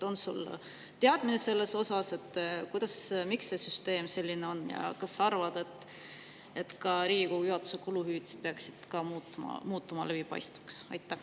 On sul teadmine, miks see süsteem selline on, ja kas sa arvad, et ka Riigikogu juhatuse kuluhüvitised peaksid muutuma läbipaistvaks?